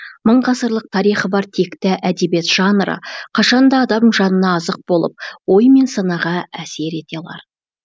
мың ғасырлық тарихы бар текті әдебиет жанры қашан да адам жанына азық болып ой мен санаға әсер етер алар